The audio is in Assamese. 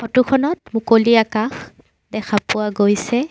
ফটো খনত মুকলি আকাশ দেখা পোৱা গৈছে।